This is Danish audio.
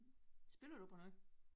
Spiller du på noget?